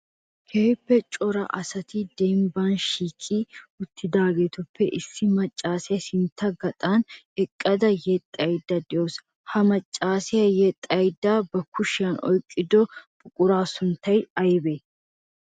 Keehippe cora asati dembban shiiqi uttidaagetuppe issi maccasiya sintta gaxan eqqada yexxaydda de'awusu. Ha maccassiya yexxaydda ba kushiyan oyqqido buqura sunttay aybbe?